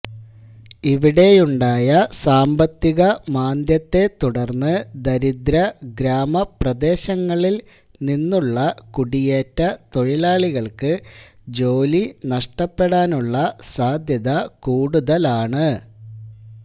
ഇവിടെയുണ്ടായ സാമ്പത്തിക മാന്ദ്യത്തെത്തുടർന്ന് ദരിദ്ര ഗ്രാമപ്രദേശങ്ങളിൽ നിന്നുള്ള കുടിയേറ്റ തൊഴിലാളികൾക്ക് ജോലി നഷ്ടപ്പെടാനുള്ള സാധ്യത കൂടുതലാണ്